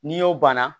N'i y'o banna